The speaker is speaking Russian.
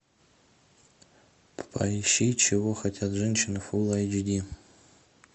поищи чего хотят женщины фул эйч ди